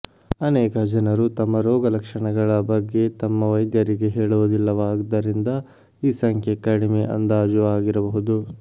ಅನೇಕ ಜನರು ತಮ್ಮ ರೋಗಲಕ್ಷಣಗಳ ಬಗ್ಗೆ ತಮ್ಮ ವೈದ್ಯರಿಗೆ ಹೇಳುವುದಿಲ್ಲವಾದ್ದರಿಂದ ಈ ಸಂಖ್ಯೆ ಕಡಿಮೆ ಅಂದಾಜು ಆಗಿರಬಹುದು